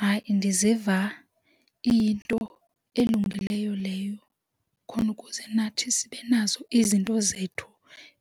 Hayi, ndiziva iyinto elungileyo leyo khona ukuze nathi sibe nazo izinto zethu